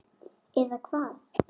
Eða hvað?